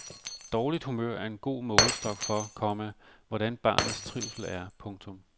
Dårligt humør er en god målestok for, komma hvordan barnets trivsel er. punktum